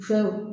Fo